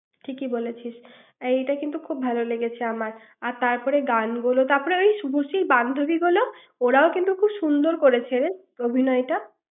ঠিকই বলেছিস এইটা কিন্তু ভালো লেগেছে আমার তারপরে গানগুলো তারপরে ওই শুভশ্রীর বান্ধবী গুলো ওরা ও কিন্তু খুব সুন্দর করেছে অভিনয়টা ৷